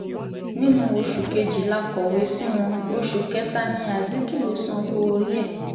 nínú oṣù kejì la kọ̀wé sí wọn oṣù kẹta ní azikiwe sanwó-orí ẹ̀